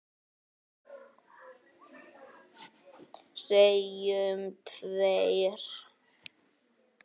Segjum tveir.